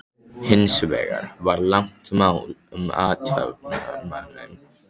Hins vegar var langt mál um athafnamanninn